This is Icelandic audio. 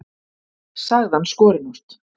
sagði hann skorinort.